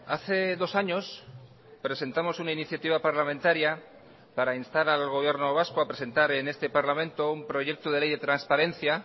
hace dos años presentamos una iniciativa parlamentaria para instar al gobierno vasco a presentar en este parlamento un proyecto de ley de transparencia